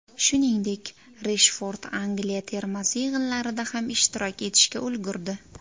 Shuningdek, Reshford Angliya termasi yig‘inlarida ham ishtirok etishga ulgurdi.